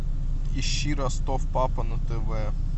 ищи ростов папа на тв